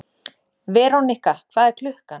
Verónika, hvað er klukkan?